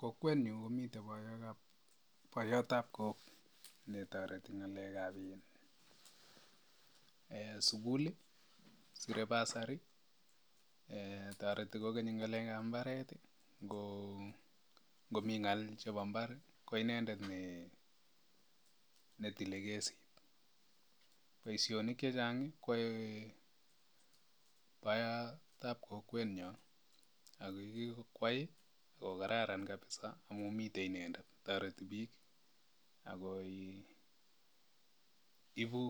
Kokwenyun komiten boyot ab koog netoreti ngalek ab sukuli, ngalekab bursary, ngalek ab mbaret koinendet netile kasit. Boisionik chechang kotile boyot ab kokwenyon, inendet kotoreti bike ak iibu